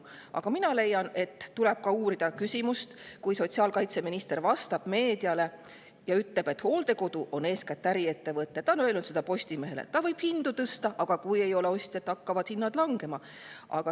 Aga mina leian, et tuleb uurida ka seda, kui sotsiaalkaitseminister vastab meediale ja ütleb, et hooldekodu on eeskätt äriettevõte – ta on öelnud seda Postimehele –, mis võib hindu tõsta, aga kui ei ole ostjaid, siis hakkavad hinnad langema.